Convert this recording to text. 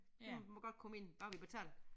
Du må godt komme ind bare vi betaler